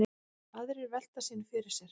Aðrir velta sínu fyrir sér.